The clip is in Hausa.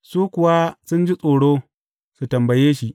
Su kuwa sun ji tsoro su tambaye shi.